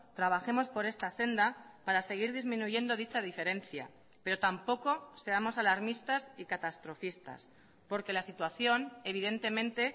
trabajemos por esta senda para seguir disminuyendo dicha diferencia pero tampoco seamos alarmistas y catastrofistas porque la situación evidentemente